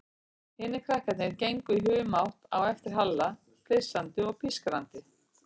Hinir krakkarnir gengu í humátt á eftir Halla, flissandi og pískrandi.